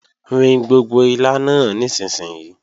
Rin gbogbo ilá náà nísinsìnyí!